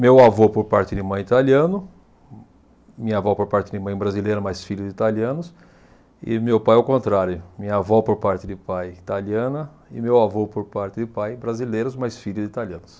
Meu avô por parte de mãe italiano, minha avó por parte de mãe brasileira, mas filha de italianos, e meu pai ao contrário, minha avó por parte de pai italiana e meu avô por parte de pai brasileiros, mas filho de italianos.